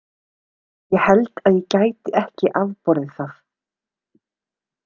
Ég held ég gæti ekki afborið það.